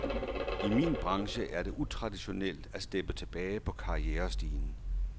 I min branche er det utraditionelt at steppe tilbage på karrierestigen.